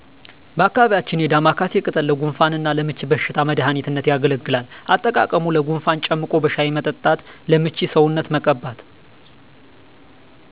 በአካባቢያችን የዳማካሲ ቅጠል ለጉንፋን እና ለምች በሽታ መድሃኒትነት ያገለግላል። አጠቃቀሙ ለጉንፋን ጨምቆ በሻሂ መጠጣት ለምች ሰውነትን መቀባት